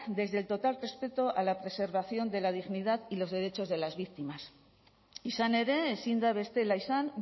desde el total respeto a la preservación de la dignidad y los derechos de las víctimas izan ere ezin da bestela izan